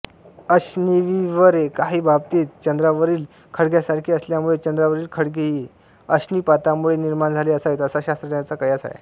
अशनिविवरे काही बाबतीत चंद्रावरील खळग्यांसारखी असल्यामुळे चंद्रावरील खळगेही अशनिपातामुळे निर्माण झाले असावेत असा शास्त्रज्ञांचा कसायआहे